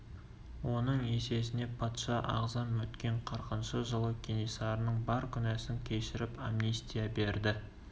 оның есесіне патша ағзам өткен қырқыншы жылы кенесарының бар күнәсын кешіріп амнистия берді